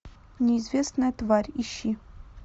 неизвестная тварь ищи